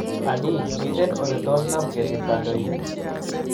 Anii, miten oletos konam kesit kandoindet?